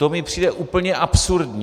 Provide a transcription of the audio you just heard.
To mi přijde úplně absurdní.